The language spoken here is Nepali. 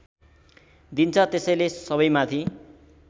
दिन्छ त्यसैले सबैमाथि